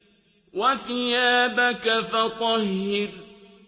وَثِيَابَكَ فَطَهِّرْ